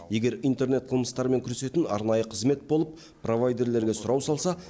егер интернет қылмыстармен күресетін арнайы қызмет болып провайдерлерге сұрау салса